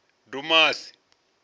dumasi